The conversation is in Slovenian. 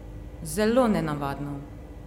Zelo nenavadno!